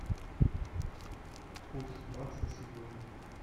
курс бакса сегодня